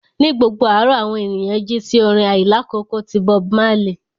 Ní gbogbo àárọ̀, àwọn ènìyàn jí sí orin àìlákókò ti Bob Marley